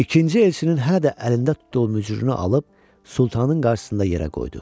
İkinci Elçinin hələ də əlində tutduğu mücrünü alıb, Sultanın qarşısında yerə qoydu.